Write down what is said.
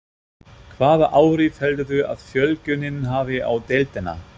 Hvaða áhrif heldurðu að fjölgunin hafi á deildina?